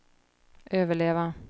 överleva